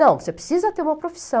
Não, você precisa ter uma profissão.